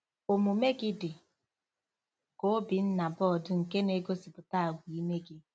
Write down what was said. Omume gị dị ka Obinnaboard nke na-egosipụta àgwà ime gị.